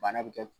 Bana bɛ kɛ